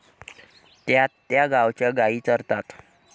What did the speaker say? त्यात त्या गावाच्या गाई चरतात.